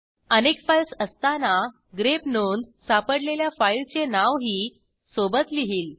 अनेक फाईल्स असताना ग्रेप नोंद सापडलेल्या फाईलचे नावही सोबत लिहील